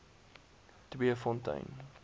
tweefontein